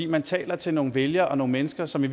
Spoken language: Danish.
man taler til nogle vælgere og nogle mennesker som i